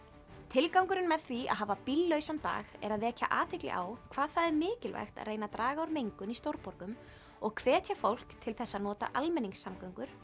tilgangurinn með því að hafa bíllausan dag er að vekja athygli á hvað það er mikilvægt að reyna að draga úr mengun í stórborgum og hvetja fólk til þess að nota almenningssamgöngur